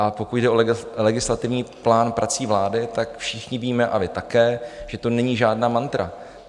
A pokud jde o legislativní plán prací vlády, tak všichni víme, a vy také, že to není žádná mantra.